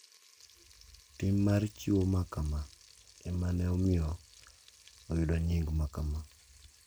Tim mar chiwo makama ema ne omiyo oyudo nying makama.